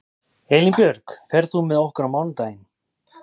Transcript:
Elínbjörg, ferð þú með okkur á mánudaginn?